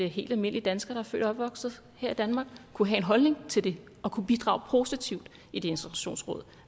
helt almindelige danskere der er født og opvokset her i danmark kunne have en holdning til det og kunne bidrage positivt i et integrationsråd